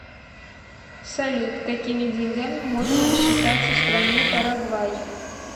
салют какими деньгами можно рассчитаться в стране парагвай